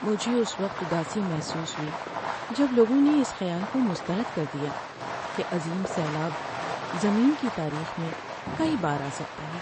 مجھے اس وقت اداسی محسوس ہوئی جب لوگوں نے اس خیال کو مسترد کر دیا کہ عظیم سیلاب زمین کی تاریخ میں کئی بار آ سکتا ہے۔